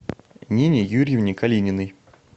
нине юрьевне калининой